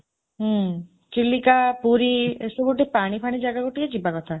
ହୁଁ ଚିଲିକା ପୁରୀ ଏସବୁ ଟିକେ ପାଣି ପାଣି ଜାଗାକୁ ଟିକେ ଯିବା କଥା